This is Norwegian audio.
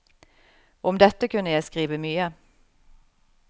Om dette kunne jeg skrive mye.